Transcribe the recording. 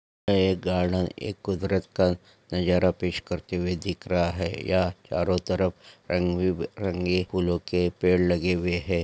एक गार्डन एक कुदरत का नजारा पेस करते हुए दिख रहा है यह चारो तरफ रंगी बे रंगी फूलो के पेड़ लगे हुए है।